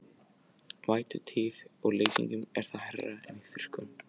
Í vætutíð og leysingum er það hærra en í þurrkum.